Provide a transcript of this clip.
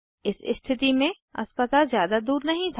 इस स्थिति में अस्पताल ज़्यादा दूर नहीं था